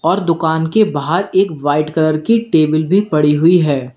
और दुकान के बाहर एक वाइट कलर की टेबल भी पड़ी हुई है।